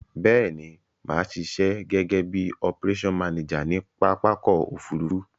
Béèni, màá sisẹ́ gégé bi operation manager ni pápákò òfurufú